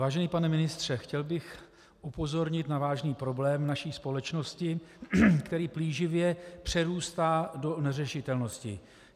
Vážený pane ministře, chtěl bych upozornit na vážný problém naší společnosti, který plíživě přerůstá do neřešitelnosti.